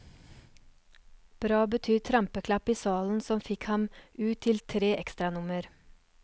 Bra betyr trampeklapp i salen som fikk ham ut til tre ekstranummer.